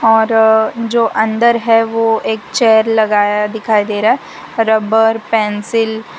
और जो अंदर है वो एक चेयर लगाया दिखाई दे रहा है रबर पेंसिल --